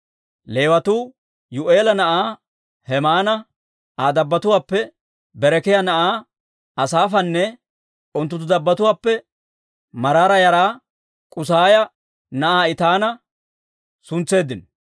Leewatuu Yuu'eela na'aa Hemaana, Aa dabbatuwaappe Berekiyaa na'aa Asaafanne unttunttu dabbatuwaappe Maraara yaraa K'usaaya na'aa Etaana suntseeddino.